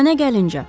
Mənə gəlinci.